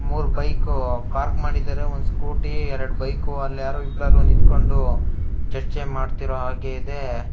ಮೂರೂ bike park ಮಾಡಿದ್ದಾರೆ scooty ಎರಡ್ ಬೈಕ್ ಅಲ್ ಯಾರೋ ನಿಂಥಂಕೊಂಡು ಚರ್ಚೆ ಮಾಡ್ತಿರೋ ಹಾಗಿದೆ.